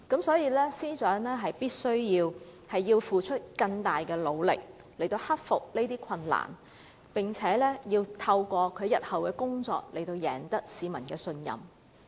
司長必須付出更大的努力克服困難，並且透過日後的工作成績贏取市民信任。